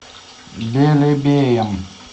белебеем